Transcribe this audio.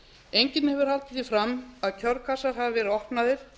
enginn hefur haldið því fram að kjörkassar hafi verið opnaðir